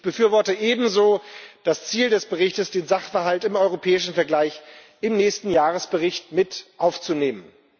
Ich befürworte ebenso das Ziel des Berichts, den Sachverhalt im europäischen Vergleich in den nächsten Jahresbericht mit aufzunehmen.